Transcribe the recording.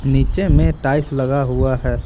नीचे में टाइल्स लगा हुआ है।